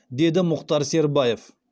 деді мұхтар сербаев